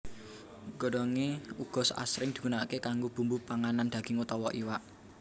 Godhongé uga asring digunakaké kanggo bumbu panganan daging utawa iwak